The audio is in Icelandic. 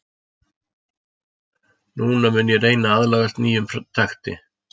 Núna mun ég reyna að aðlagast nýjum takti.